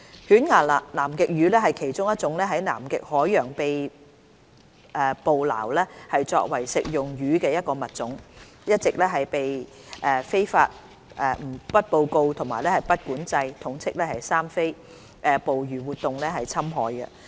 犬牙南極魚是其中一種在南極海洋被捕撈作為食用魚的物種，一直被非法、不報告和不管制捕魚活動侵害。